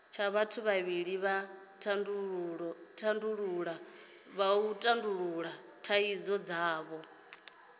vhathu vhavhili vha tandulula thaidzo dzavho